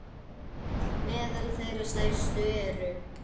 Meðal þeirra stærstu eru